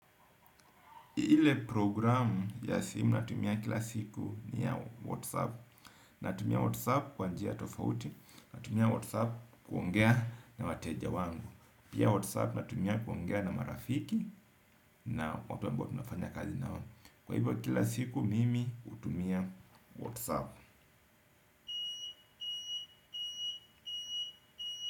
Ile programu ya simu natumia kila siku ni ya Whatsapp. Natumia Whatsapp kwa njia tofauti. Natumia Whatsapp kuongea na wateja wangu, pia Whatsapp natumia kuongea na marafiki. Na watu ambao tunafanya kazi nao, kwa hivyo kila siku mimi hutumia Whatsapp.